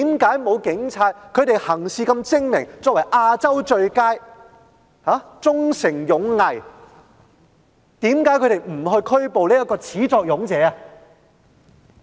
他們如此精明，又是"亞洲最佳"，堅守忠誠勇毅，為何沒有拘捕他這名始作俑者呢？